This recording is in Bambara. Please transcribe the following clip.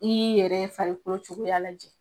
I'i yɛrɛ farikolo cogoya lajɛ.